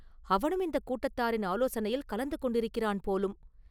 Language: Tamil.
அவனும் இந்தக் கூட்டத்தாரின் ஆலோசனையில் கலந்து கொண்டிருக்கிறான் போலும்!